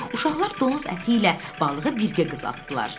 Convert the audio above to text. Uşaqlar donuz əti ilə balığı birgə qızartdılar.